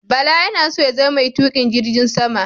Bala yana so ya zama mai tuƙin jirgin sama.